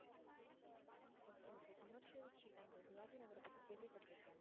okay okay commercial street அந்த சிவாஜி நகரை பத்தி கேள்விபட்டிருக்கேன்.